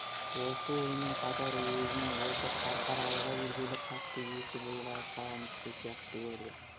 осы оймен қатар өзін осы қарқаралыға келгелі қатты өсіп ұлғайып қалған кісі сияқты көрді